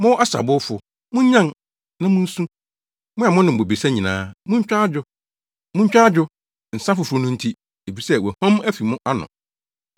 Mo asabowfo, munnyan, na munsu! Mo a monom bobesa nyinaa, muntwa adwo; muntwa adwo, nsa foforo no nti, efisɛ wɔahuam afi mo ano.